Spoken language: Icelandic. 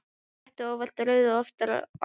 Sletti óvart rauðu ofan á tærnar.